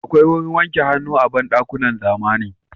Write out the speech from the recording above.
Akwai wurin wanke hannu a banɗakunan zamani